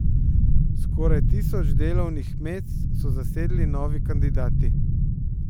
Skoraj tisoč delovnih mest so zasedli novi kandidati.